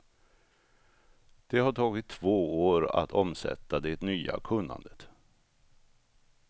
Det har tagit två år att omsätta det nya kunnandet.